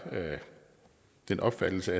den opfattelse